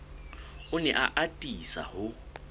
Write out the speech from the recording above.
o ne a atisa ho